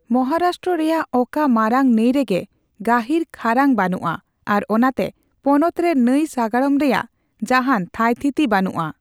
ᱢᱚᱦᱟᱨᱟᱥᱴᱨᱚ ᱨᱮᱭᱟᱜ ᱚᱠᱟ ᱢᱟᱨᱟᱝ ᱱᱟᱹᱭ ᱨᱮᱜᱮ ᱜᱟᱹᱦᱤᱨ ᱠᱷᱟᱨᱟᱝ ᱵᱟᱹᱱᱩᱜᱼᱟ ᱟᱨ ᱚᱱᱟᱛᱮ ᱯᱚᱱᱚᱛ ᱨᱮ ᱱᱟᱹᱭ ᱥᱟᱜᱟᱲᱚᱢ ᱨᱮᱭᱟᱜ ᱡᱟᱦᱟᱱ ᱛᱷᱟᱹᱭᱛᱷᱤᱛᱤ ᱵᱟᱹᱱᱩᱜᱼᱟ ᱾